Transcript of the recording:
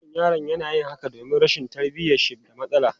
Wannan yaron yana yin haka domin rashin tarbiyyar shi da matsala.